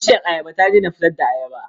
Bishiyar ayabar ya daina fitar da ayaba.